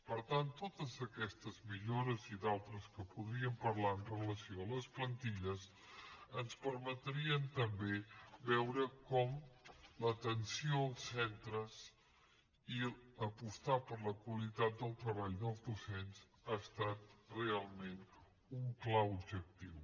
per tant totes aquestes millores i d’altres de què podríem parlar amb relació a les plantilles ens permetrien també veure com l’atenció als centres i apostar per la qualitat del treball dels docents ha estat realment un clar objectiu